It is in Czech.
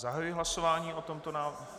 Zahajuji hlasování o tomto návrhu.